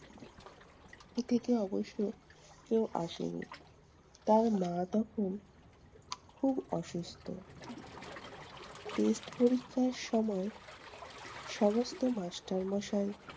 থেকে অবশ্য কেউ আসেনি। তার মা তখন খুব অসুস্থ। test পরীক্ষার সময় সমস্ত master মশাই